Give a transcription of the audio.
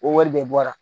O wari de bɔra